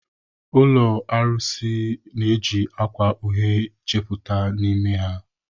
Ụlọ arụsị na-eji akwa uhie chepụta n'ime ha.